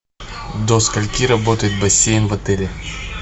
до скольки работает бассейн в отеле